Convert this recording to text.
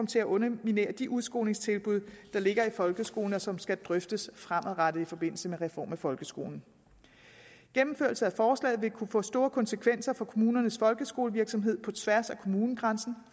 til at underminere de udskolingstilbud der ligger i folkeskolen og som skal drøftes fremadrettet i forbindelse med reform af folkeskolen gennemførelse af forslaget vil kunne få store konsekvenser for kommunernes folkeskolevirksomhed på tværs af kommunegrænsen